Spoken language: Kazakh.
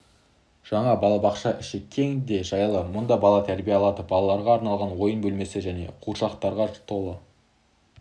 жаңа балабақшаныңіші кең де жайлы мұнда бала тәрбие алады балаларға арналған ойын бөлмесі жаңа қуыршақтарға толы